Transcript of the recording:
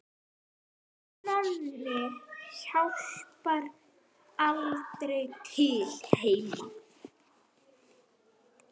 Nonni hjálpar aldrei til heima.